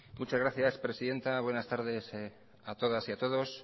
muchas gracias presidenta buenas tardes a todas y a todos